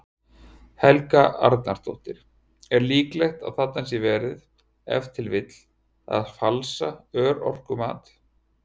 Helga Arnardóttir: Er líklegt að þarna sé verið, ef til vill, að falsa örorkumat?